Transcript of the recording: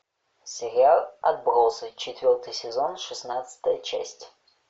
сериал отбросы четвертый сезон шестнадцатая часть